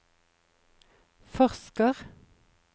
forsker